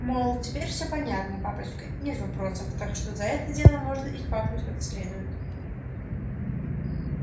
мол теперь все понятно папочка нет вопросов так что за это дело можно и квакнуть как следует